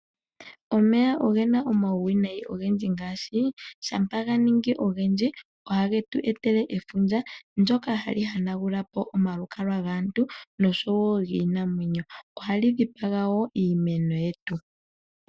Omeya ogena uuwinayi owundji ngaashi shampa ga ningi ogendji oha getweetele efundja ndyoka hali hanagulapo omalukalwa gaantu noshowo giinamwenyo. Ohali dhipaga wo iimeno yetu.